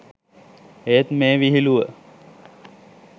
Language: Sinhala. ඒත් මේ විහිළුව